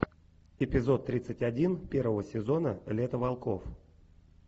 эпизод тридцать один первого сезона лето волков